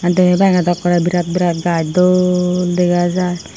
deney bangey daw ekkorey birat birat gaj dol dega jaai.